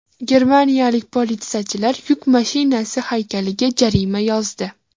Germaniyalik politsiyachi yuk mashinasi haykaliga jarima yozdi.